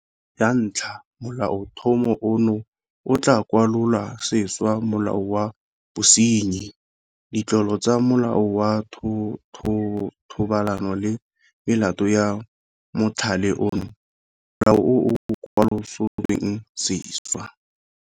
Ya ntlha Molaotlhomo ono o tla kwalola sešwa Molao wa Bosenyi, Ditlolo tsa Molao wa Thobalano le Melato ya Mothale ono, Molao o o Kwalolotsweng Sešwa.